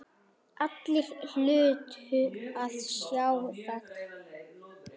Allir hlutu að sjá það.